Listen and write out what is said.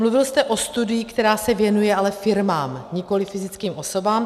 Mluvil jste o studii, která se věnuje ale firmám, nikoliv fyzickým osobám.